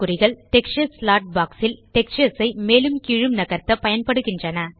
texture slot box ல் textures ஐ மேலும் கீழும் நகர்த்த பயன்படுகின்றன